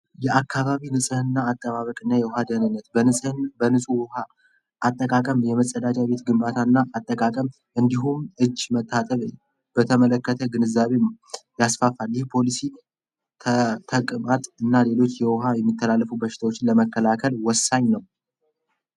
የአካባቢ አካባ ቢ አጠቃቀም የመጸዳጃ ቤት ግንባታና አጠቃቀም እንዲሁም እጅ መታዘዝ በተመለከተ ግንዛቤ ያስፋፋ እና ሌሎች የሚከላለፉ በሽታዎችን ለመከላከል ወሳኝ ነው።